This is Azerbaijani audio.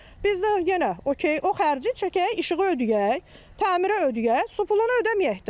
Biz də yenə okey, o xərci çəkək, işığı ödəyək, təmirə ödəyək, su pulunu ödəməyək də.